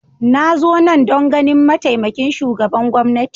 Na zo nan don ganin mataimakin shugaban gwamnati